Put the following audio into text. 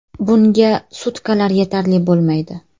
Bunga sutkalar yetarli bo‘lmaydi.